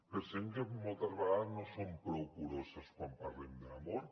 pensem que moltes vegades no som prou curoses quan parlem de l’amor